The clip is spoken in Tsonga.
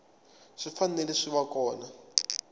swi fanele swi va kona